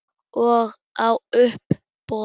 Og á uppboð.